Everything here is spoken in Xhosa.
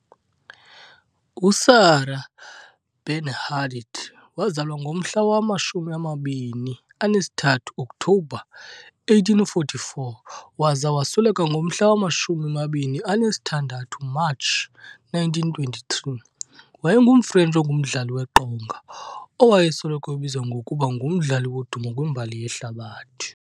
USarah Bernhardt wazalwa ngomhla wama-23 October 1844 - waza wasweleka ngomhla wama26 March 1923, wayengumFrentshi ongumdlali weqonga, owayesoloko ebizwa ngokuba "ngumdlali wodumo kwimbali yehlabathi".